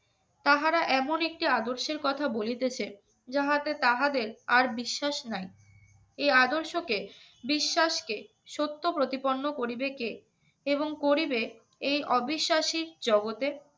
তাহারা এমন একটি আদর্শের কথা বলিতেছে যাহাতে তাহাদের আর বিশ্বাস নাই এ আদর্শকে বিশ্বাসকে সত্য প্রতিপন্ন করিবে কে এবং করিবে এই অবিশ্বাসীর জগ